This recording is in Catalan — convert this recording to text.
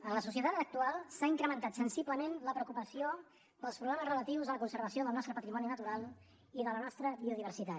en la societat actual s’ha incrementat sensiblement la preocupació pels problemes relatius a la conservació del nostre patrimoni natural i de la nostra biodiversitat